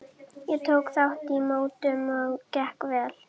Ég tók þátt í mótum og gekk vel.